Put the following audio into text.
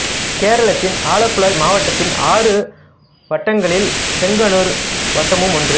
கேரளத்தின் ஆலப்புழை மாவட்டத்தின் ஆறு வட்டங்களில் செங்கன்னூர் வட்டமும் ஒன்று